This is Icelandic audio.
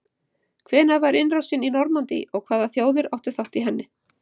Hvenær var innrásin í Normandí og hvaða þjóðir áttu þátt í henni?